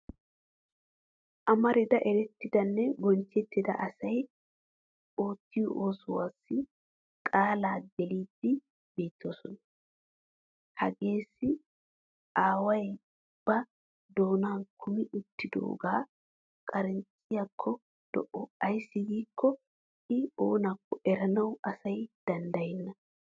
Amarida erettidanne bonchchettida asay oottiyo oosuwaassi qaalaa gelididi beettoosona. Hageeissi aaway ba doonaa kammi uttidoogaa qaariichchiyakko lo'o ayssi giikko I oonakko eranawu asay danddayenna.